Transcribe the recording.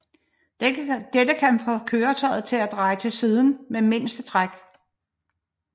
Dette kan få køretøjet til at dreje til siden med mindst træk